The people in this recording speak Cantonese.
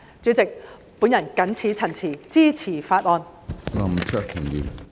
主席，我謹此陳辭，支持《條例草案》。